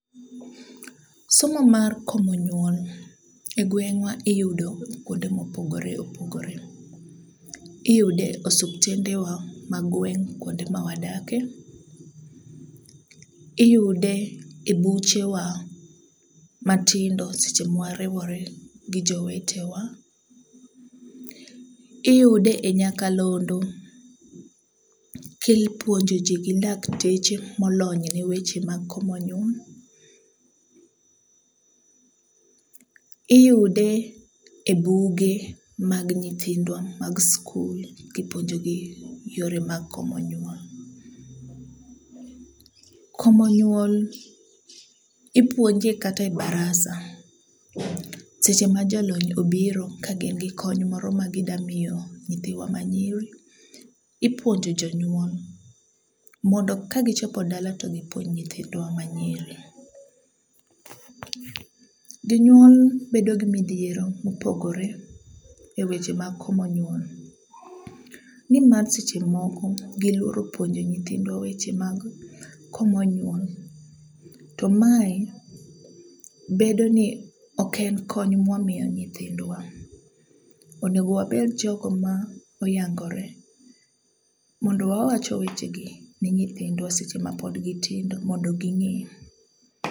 Somo mar komo nyuol e gweng'wa iyudo kwonde mopogore opogore. Iyude osuptendwa mag gweng' kwonde ma wadakie, iyude e buchewa matindo seche ma wariwore gi jowetewa. Iyude e nyakalondo ka ipuonjo ji gi dakteche molony ne weche mag komo nyuol. Iyude e buge mag nyithindwa mag skul kipuonjogi yore mag komo nyuol. Komo nyuol ipuonje kata e barasa seche ma jalony obiro ka gin gi kony moro magidamiyo nyithiwa manyiri ,ipuonjo jonyuol mondo ka gichopo dala to gipuonj nyithindwa manyiri. Jonyuol bedo gi midhiero mopogore e weche mag komo nyuol nimar seche moko giluoro puonjo nyithindwa weche mag komo nyuol, to mae, bedo ni ok en kony mwa miyo nyithindwa. Onego wabed jogo ma oyangore mondo wawacho wechegi ni nyithindwa seche mapod gitindo mondo ging'e.